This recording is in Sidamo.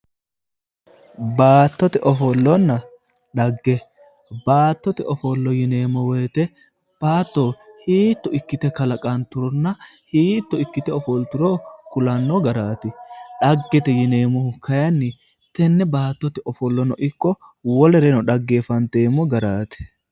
baattote ofollonna xagga baattote ofollo yineemmo wote baatto hiitto ikkite kalaqanturonna hiitto ikkite ofolturo kulanno garaati xaggete yineemmoti kayiinni tenne baattote ofollono ikko wolere xaggeeffanteemmo garaati.